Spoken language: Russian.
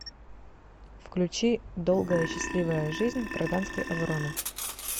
включи долгая счастливая жизнь гражданской обороны